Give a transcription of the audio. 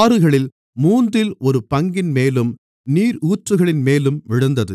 ஆறுகளில் மூன்றில் ஒருபங்கின்மேலும் நீரூற்றுகளின்மேலும் விழுந்தது